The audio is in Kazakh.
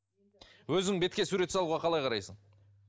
өзің бетке сурет салуға қалай қарайсың